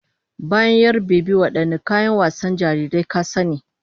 Bayan 'yar-bebi, wadanne kayan wasan jarirai ka sani?